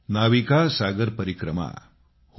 नाविका सागर परिक्रमा हो